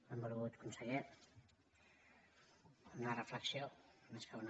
benvolgut conseller una reflexió més que una